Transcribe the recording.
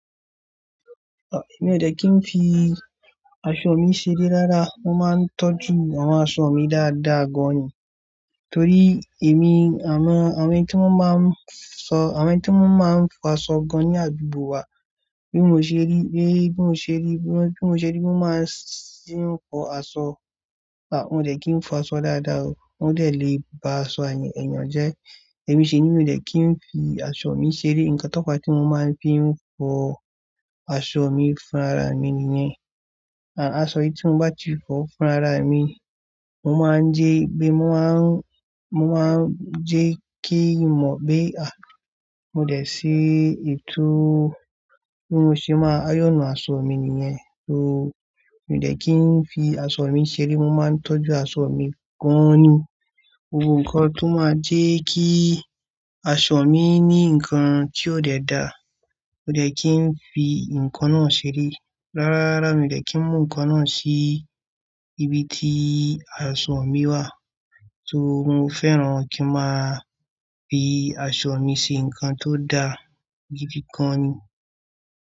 Èmi ò dẹ̀ kí n fi aṣọ mi ṣeré rárá mo máa ń tọ́jú àwọn aṣọ mi dáadáa gan ni. Torí èmi àwọn, àwọn ẹ́ tí wón máa ń sọ, àwọn ẹ́ tí wón máa ń fọ aṣọ gan ní àdúgbò wa bí mo ṣe rí, bí mo ṣe rí, bí mo ṣe rí bí wón máa ń ṣe fọ aṣọ. Àbí ò dẹ̀ kí n fọ aṣọ dáadáa o. Wọ́n dẹ̀ lè ba aṣọ mi ẹ̀yàn jẹ. Èmi sì ni mi ò dẹ̀ kí n fi aṣọ mi ṣeré. Ǹkan táwò tí mo máa ń fi fọ aṣọ mi fún ara mi nìyẹn. À aṣọ tí mo bá ti fọ fún ara mi, mo máa ń jẹ́ gbé, mo máa ń, mo máa ń jẹ́ kí n mọ̀ pé à mo dẹ̀ sí ètò bí mo ṣe máa yọ̀nù aṣọ mi nìyẹn. So, mi ò dẹ̀ kí n fi aṣọ mi ṣeré. Mo máa ń tọ́jú aṣọ mi gan ni. Ohun kankan tó máa jẹ́ kí aṣọ mi ní ǹkan tí ò dẹ da, mi ò dẹ̀ kí n fi ǹkan náà ṣeré. Rárá, rárá mi ò dẹ̀ kí n mú ǹkan náà sí ibi tí aṣọ mi wà. So mo fẹ́ràn kí a máa fi aṣọ mi ṣe ǹkan tó da gidi gan ni.